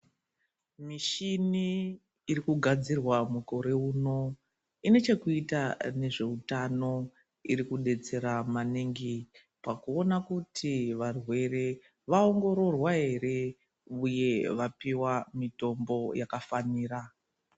Mishini iri kugadzirwa mukore unowu ine chekuita nezvehutano iri kudetsera maningi pakuona kuti varwere vaongororwa here uye vapiwa mitombo yakafanira.